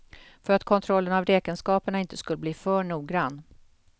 För att kontrollen av räkenskaperna inte skulle bli för noggrann.